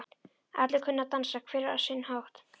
Allir kunna að dansa, hver á sinn hátt.